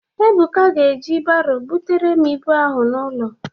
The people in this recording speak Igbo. Ebuka ga eji baro butere m ịbụ ahụ n'ụlọ